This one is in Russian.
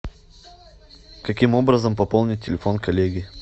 каким образом пополнить телефон коллеги